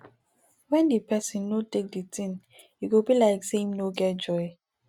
when di person no take di thing e go be like sey im no get joy